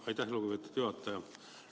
Aitäh, lugupeetud juhataja!